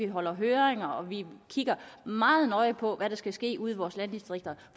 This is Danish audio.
holder høringer og vi kigger meget nøje på hvad der skal ske ude i vores landdistrikter